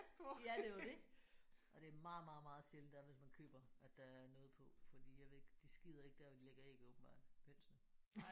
Ja det er jo det! Og det er meget meget meget sjældent der er hvis man køber at der er noget på fordi jeg ved ikke de skider ikke der hvor de lægger æg åbenbart hønsene